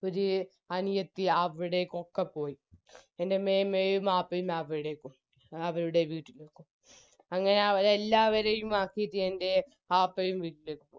ഒര് അനിയത്തിയും അവിടെക്കൊക്കെ പോയി എൻറെ മേമയും ആപ്പയും അവിടേക്കും അവരുടെ വീട്ടിലേക്ക് അങ്ങനെ അവരെ എല്ലാവരെയും ആക്കിറ്റ് എൻറെ ആപ്പയും വീട്ടിലേക്ക്